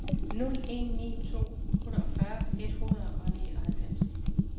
nul en ni to otteogfyrre et hundrede og nioghalvfems